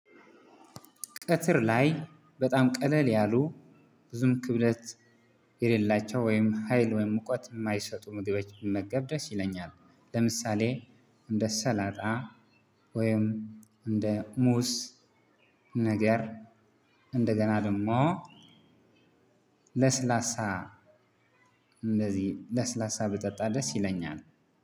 ቀጥር ላይ በጣም ቀለል ያሉ ብዙም ክብደት የሌላቸው ወይም ሀይል ወይም ሙቀት የማይሰጡ ምግቦች ብመገብ ደስ ይለኛል። ለምሳሌ እንደ ሰላጣ ወይም እንደ ሙዝ ነገር እንደገና ደግሞ ለስላሳ እንደዚህ ለስላሳ ብጠጣ ደስ ይለኛል።